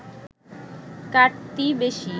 কাটতি বেশি